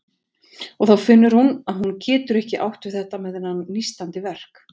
Og þá finnur hún að hún getur ekki átt við þetta með þennan nístandi verk.